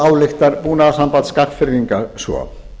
ályktar búnaðarsamband skagfirðinga svo